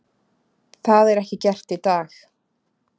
Það er ekki gert í dag.